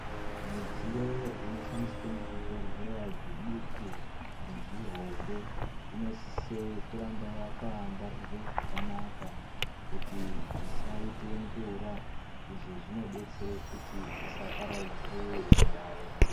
Midziyo inoshandiswe muzvibhehlera zviduku nezvihombe inosisa kurambe yakangwarirwa zvakanaka kuti isaite ngura izvi zvinodetsera kuti isaparadzire zviyayo.